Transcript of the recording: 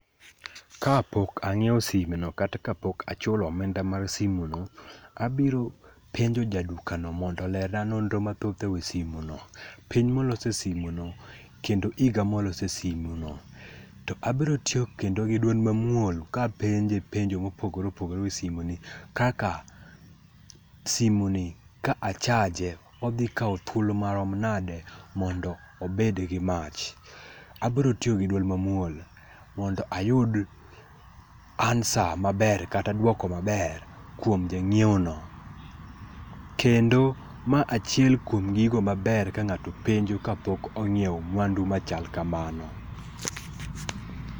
Kapok ang'iewo simeno kata kapok achulo omenda mar simenio, abiro penjo jaduka no mondo olerna nonro mathoth ewi simeno. Piny molosie simeno, kendo higa molosie simeno. To abiro tiyo kendo gi duol mamuol kapenje penjo mopogore opogore ewi simeno, kK simeni ka a chaje odhi kawo thuolo marom nade mondo obed gi mach? Abiro tiyo gi duol mamuol mondo ayud ansqwer kata duoko maber e ng'iewo no. Kendo ma achiel kuom gigo maber ka ng'ato penjo kapok ong'iewo mwandu machal kamano.